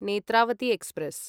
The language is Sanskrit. नेत्रावती एक्स्प्रेस्